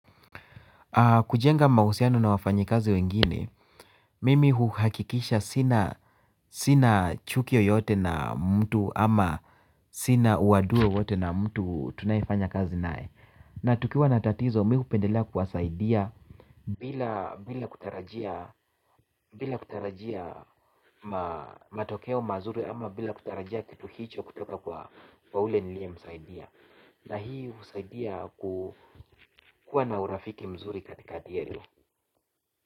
Kujenga mahusiano na wafanyikazi wengine, mimi huhakikisha sina chuki yoyote na mtu ama sina uadui wowote na mtu tunayefanya kazi nae. Na tukiwa na tatizo, mimi hupendelea kuwasaidia bila kutarajia matokeo mazuri ama bila kutarajia kitu hicho kutoka kwa ule niliye msaidia. Na hii husaidia kuwa na urafiki mzuri katikati yenu.